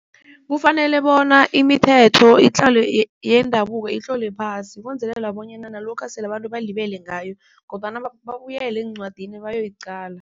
Kufanele bona imithetho yendabuko itlolwe phasi ukwenzelela bonyana nalokha sele abantu balibele ngayo kodwana babuyele encwadini bayoyicala.